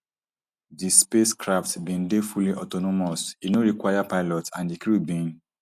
di spacecraft bin dey fully autonomous e no require pilots and di crew bin